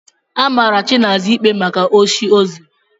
Amara Chinaza ikpe maka osi o zuru.